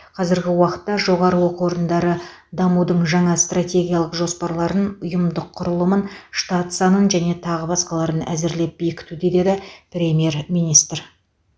қазіргі уақытта жоғары оқу орындары дамудың жаңа стратегиялық жоспарларын ұйымдық құрылымын штат санын және тағы басқаларын әзірлеп бекітуде деді премьер министр